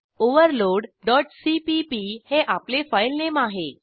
overloadसीपीपी हे आपले फाईलनेम आहे